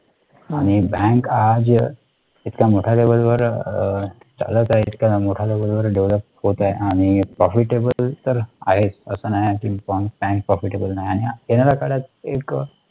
आणि bank आज इतक्या मोठय़ा level वर चालत आहेत इतक्या मोठ्या level वर develop होत आहे आणि profitable तर आहेच असं नाही कि bank profitable नाही आणि येणारा कालात एक